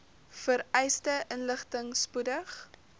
vereiste inligting spoedig